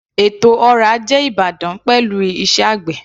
Ètò ọrọ̀ ajé ìbàdàn pẹ̀lú iṣẹ́ àgbè.